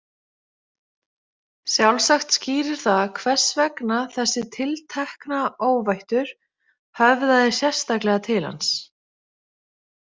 Sjálfsagt skýrir það hvers vegna þessi tiltekna óvættur höfðaði sérstaklega til hans.